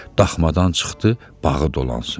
Daxmadan çıxdı, bağı dolansın.